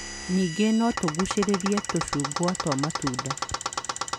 Ningĩ no kũgucĩrĩrie tũcungwa twa matunda.